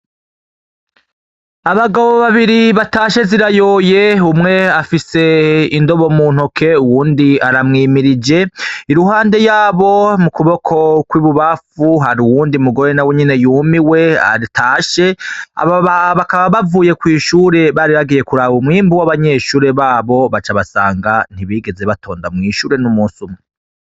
Abagabo babiri batashe zirayoye, umwe afise indobo mu ntoke, uwundi aramwimirije, iruhande yabo mu kuboko kw'ibubamfu hari uwundi mugore na wenyene yumiwe atashe, aba bakaba bavuye kw'ishure bari bagiye kuraba umwimbu w'abanyeshure babo baca basanga ntibigeze batonda mwishure n'umusi umwe.